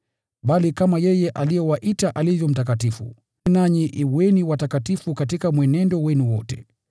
Bali kama yeye aliyewaita alivyo mtakatifu, nanyi kuweni watakatifu katika mwenendo wenu wote.